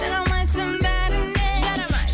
жарамайсың бәріне жарамай